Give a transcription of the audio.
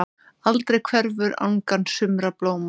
Aldrei hverfur angan sumra blóma.